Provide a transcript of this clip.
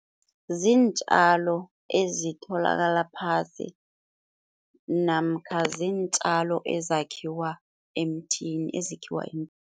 Ziintjalo ezitholakala phasi, namkha ziintjalo ezakhiwa emthini ezikhiwa